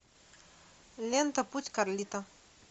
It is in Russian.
лента путь карлито